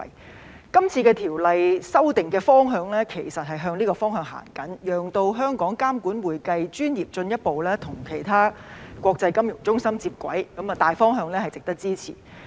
《2021年財務匯報局條例草案》的修訂方向其實是朝此前進，讓香港監管會計專業進一步與其他國際金融中心接軌，大方向值得支持。